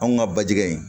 Anw ka bajigɛ